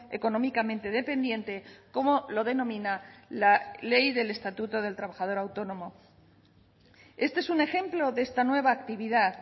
económicamente dependiente como lo denomina la ley del estatuto del trabajador autónomo este es un ejemplo de esta nueva actividad